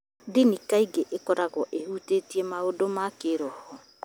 Ndini kaingĩ ĩkoragwo ĩhutĩtie maũndũ ma kĩĩroho